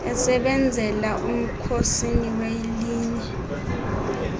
esebenzela umkhosini welinye